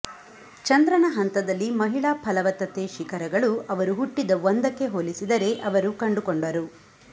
ಚಂದ್ರನ ಹಂತದಲ್ಲಿ ಮಹಿಳಾ ಫಲವತ್ತತೆ ಶಿಖರಗಳು ಅವರು ಹುಟ್ಟಿದ ಒಂದಕ್ಕೆ ಹೋಲಿಸಿದರೆ ಅವರು ಕಂಡುಕೊಂಡರು